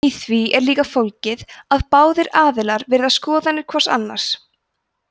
í því er líka fólgið að báðir aðilar virða skoðanir hvors annars